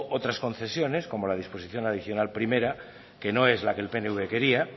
otras concesiones como la disposición adicional primera que no es la que el pnv quería